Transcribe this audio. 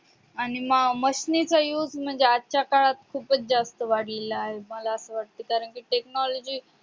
आणि machine चा असे म्हणजे आजच्या काळात खूपच जास्त वाढलेला आहे मला असं वाटत कारण कि technology